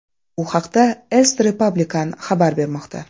Bu haqda Est Republicain xabar bermoqda .